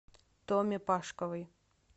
томе пашковой